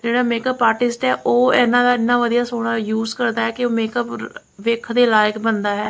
ਤੇ ਜਿਹੜਾ makeup artist ਹੈ ਉਹ ਇਹਨਾਂ ਵਧੀਆ ਸੋਹਣਾ ਯੂਜ ਕਰਦਾ ਕਿ ਮੇਕਅਪ ਵੇਖਣ ਦੇ ਲਾਇਕ ਬਣਦਾ ਹੈ।